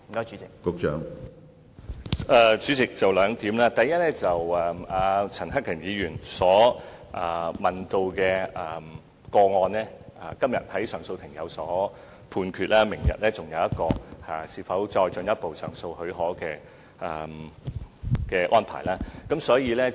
主席，第一，就陳克勤議員問及的個案，上訴法庭今天已有判決，明天還會聽取有關上訴至終審法院的許可申請。